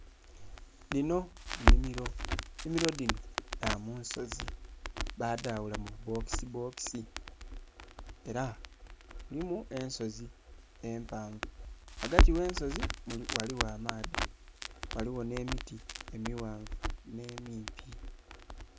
Dhinho nnhimilo. Ennhimilo dhinho dha mu nsozi baadhaghula mu bu bokisibokisi ela mulimu ensozi empanvu, ghagati gh'ensozi ghaligho amaadhi, ghaligho nh'emiti emighanvu nh'emimpi.